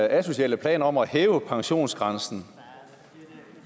asociale plan om at hæve pensionsgrænsen